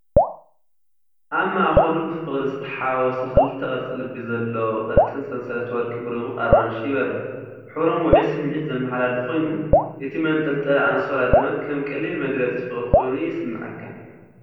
ኣብ ማእከሉ ብፍቕሪ ዝተሓዋወሰ ክልተ ቅርጺ ልቢ ዘለዎ ቀጢን ሰንሰለት ወርቂ ብድሙቕ ኣራንሺ ይበርህ። ሕብሮም ውዑይ ስምዒት ዘመሓላልፍ ኮይኑ፡ እቲ መንጠልጠሊ ኣንሶላ ድማ ከም ቀሊል መግለጺ ፍቕሪ ኮይኑ ይስምዓካ።